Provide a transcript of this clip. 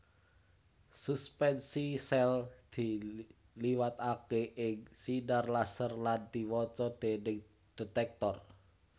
Suspensi sèl diliwataké ing sinar laser lan diwaca déning detektor